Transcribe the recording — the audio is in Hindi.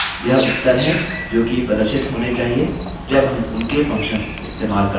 यह उत्तर हैं जो कि प्रदर्शित होने चाहिए जब हम उनके functions इस्तेमाल करते हैं